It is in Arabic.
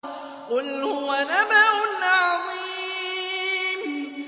قُلْ هُوَ نَبَأٌ عَظِيمٌ